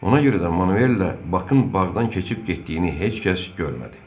Ona görə də Manuellə Bakın bağdan keçib getdiyini heç kəs görmədi.